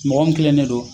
Mɔgɔ mun kilennen don